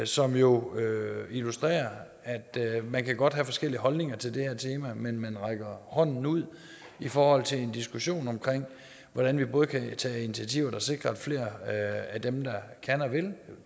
som jo illustrerer at man godt kan have forskellige holdninger til det her tema men at man rækker hånden ud i forhold til en diskussion om hvordan vi både kan tage initiativer der sikrer at flere af dem der kan og vil